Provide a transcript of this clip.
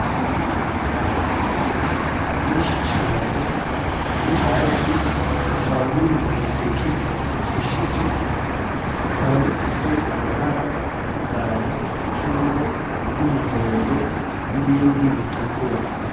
N'ibiraya vyishi cane biri hasi bikaba biri mu giseke kijishije bikaba bifise amabara atandukanye harimwo iryu muhondo n'ibindi bitukura